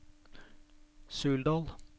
Suldal